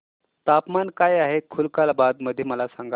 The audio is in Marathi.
तापमान काय आहे खुलताबाद मध्ये मला सांगा